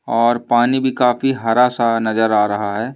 और पानी भी काफी हरा सा नजर आ रहा है।